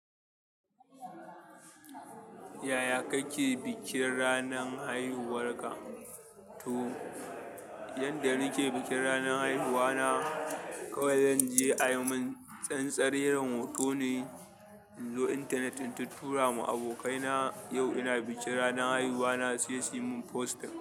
Yaya kake bikin ranan haihuwarka? To, yanda nake bikin ranar haihuwa na, kawai zan je a yi min tsantsareren hotone, in zo intanetin in tura ma abokaina yau ina bikin ranar haihuwa na sai suyi min posting.